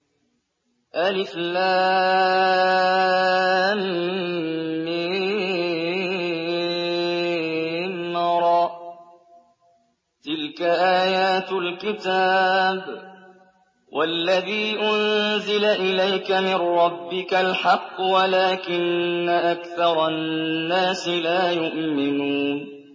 المر ۚ تِلْكَ آيَاتُ الْكِتَابِ ۗ وَالَّذِي أُنزِلَ إِلَيْكَ مِن رَّبِّكَ الْحَقُّ وَلَٰكِنَّ أَكْثَرَ النَّاسِ لَا يُؤْمِنُونَ